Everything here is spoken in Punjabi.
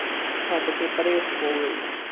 ਛੱਡ ਕੇ ਪਰੇ ਹੋ ਗਈ।